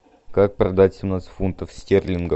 как продать семнадцать фунтов стерлингов